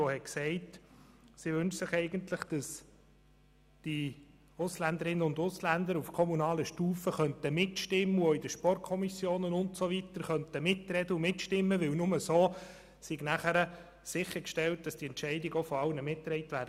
Sie sagte, sie wünsche sich eigentlich, dass die Ausländerinnen und Ausländer auf kommunaler Stufe mitbestimmen und auch in den Sportkommissionen und so weiter mitreden könnten, denn nur so sei sichergestellt, dass die Entscheide dann auch von allen mitgetragen würden.